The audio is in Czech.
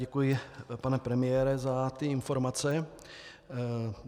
Děkuji, pane premiére, za ty informace.